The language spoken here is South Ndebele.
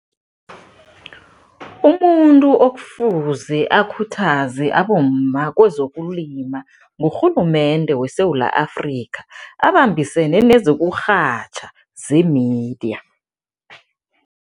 Umuntu okufuze akhuthaze abomma kwezokulima ngurhulumende weSewula Afrika, abambisene nezokurhatjha, ze-media.